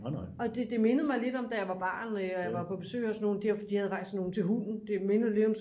Og det mindede mig lidt om da jeg var barn og jeg var på besøg hos nogen de havde faktisk sådan nogle til hunden det mindede lidt om